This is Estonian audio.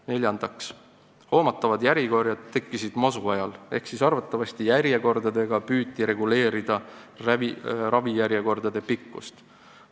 Neljandaks, hoomatavad järjekorrad tekkisid masuajal ehk arvatavasti püüti ooteaegadega reguleerida ravijärjekordade pikkust.